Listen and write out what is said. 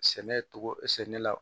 Sɛnɛ togo sɛnɛ la